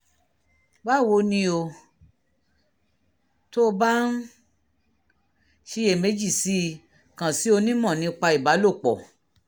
báwo ni o? tó o bá ń ṣiyèméjì sí i kàn sí onímọ̀ nípa ìbálòpọ̀